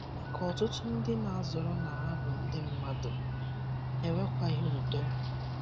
Maka Ọtụtụ ndị na - azọrọ na ha bụ Ndị mmadu, ha ekwekwaghị ụdo.